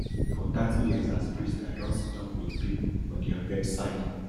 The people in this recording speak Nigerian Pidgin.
for thirty years as priest i don siddon wit pipo for dia bedside